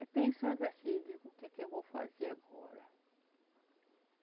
Aí pensando assim, digo, o que é que eu vou fazer agora?